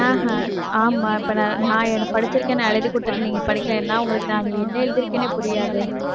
ஆஹ் ஆமாம் இப்ப நான் நான் படிச்சிருக்கேன்னு நான் எழுதிக் கொடுத்துட்டு நீங்க படிக்கலைன்னா உங்களுக்கு நான் என்ன எழுதிருக்கேன்னே புரியாதே